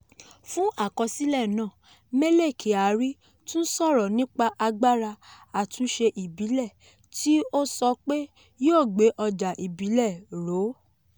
fún àkọsílẹ̀ náà: mele kyari tún sọ̀rọ̀ nípa agbára àtúnṣe ìbílẹ̀ tí ó sọ pé yóò gbé ọjà ìbílẹ̀ ró.